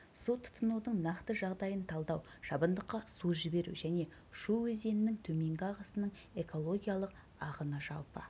су тұтынудың нақты жағдайын талдау шабындыққа су жіберу және шу өзенінің төменгі ағысының экологиялық ағыны жалпы